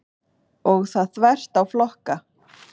Og það þvert á flokka.